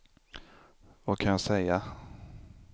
vad kan jag säga